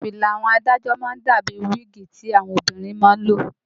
Fìlà àwọn adájọ́ má ń dà bíi wíìgì tí àwọn obìnrin má ń lò